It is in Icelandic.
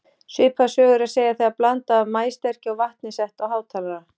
Svipaða sögu er að segja þegar blanda af maíssterkju og vatni er sett á hátalara.